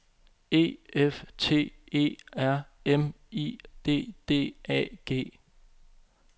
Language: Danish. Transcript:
E F T E R M I D D A G